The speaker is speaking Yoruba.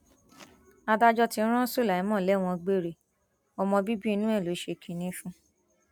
adájọ ti ran su lima lẹwọn gbére ọmọ bíbí inú ẹ ló ṣe kinní fún